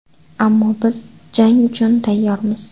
Ammo biz jang uchun tayyormiz.